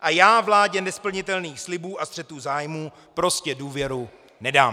A já vládě nesplnitelných slibům a střetů zájmů prostě důvěru nedám.